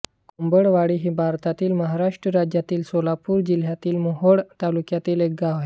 कोंबडवाडी हे भारतातील महाराष्ट्र राज्यातील सोलापूर जिल्ह्यातील मोहोळ तालुक्यातील एक गाव आहे